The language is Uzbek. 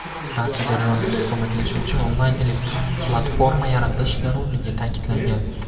barcha jarayonlarga ko‘maklashuvchi onlayn elektron platforma yaratish zarurligi ta’kidlangan.